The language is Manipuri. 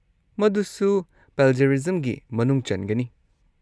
ꯃꯗꯨꯁꯨ ꯄ꯭ꯂꯦꯖꯔꯤꯖꯝꯒꯤ ꯃꯅꯨꯡ ꯆꯟꯒꯅꯤ ꯫